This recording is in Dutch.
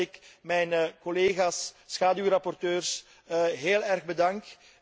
Ik moet zeggen dat ik mijn collega's schaduwrapporteurs heel erg bedank.